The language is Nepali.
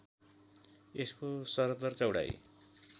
यसको सरदर चौडाइ